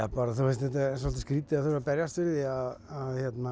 svolítið skrýtið að þurfa að berjast fyrir því að